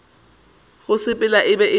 go sepela e be e